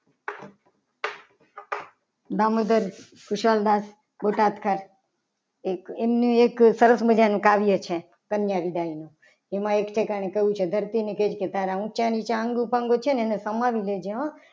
દામોદર કુશળદાસ બોટાદકર એક એમનું એક સરસ મજાનું કાવ્ય છે. કન્યા વિદાય નું એમાં એક ઠેકાણા કહ્યું છે. કે ધરતીના ને કહીશ. કે તારા ઊંચા નીચાં અંગ એને સમાવી લે જે હો.